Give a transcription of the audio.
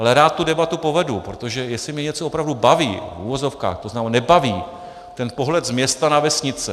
Ale rád tu debatu povedu, protože jestli mě něco opravdu baví, v uvozovkách, to znamená nebaví, ten pohled z města na vesnice.